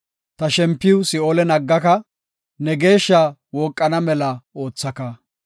Ta shempiw si7oolen aggaka; ne Geeshshaa wooqana mela oothaka.